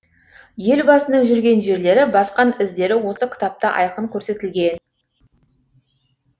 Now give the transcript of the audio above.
елбасының жүрген жерлері басқан іздері осы кітапта айқын көрсетілген